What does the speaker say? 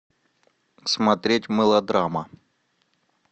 смотреть мылодрама